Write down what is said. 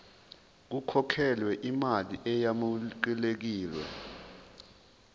kukhokhelwe imali eyamukelekile